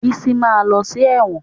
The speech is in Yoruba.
Bísí ma lọ sí ẹ̀wọ̀n